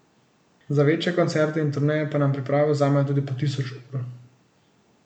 Za večje koncerte in turneje pa nam priprave vzamejo tudi po tisoč ur.